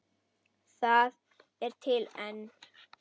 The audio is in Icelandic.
Það er til enn.